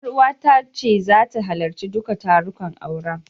Ƴaruwata ta ce zata halarci duka tarukan auren.